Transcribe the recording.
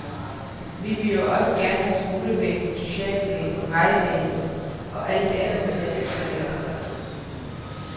Vi vil jo også gerne have skolevæsen, socialvæsen, vejvæsen og alt det andet til at fungere.